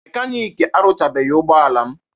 Mekanik aruchabeghi ụgbọala m